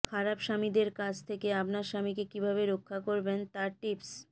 খারাপ স্বামীদের কাছ থেকে আপনার স্বামীকে কিভাবে রক্ষা করবেন তা টিপস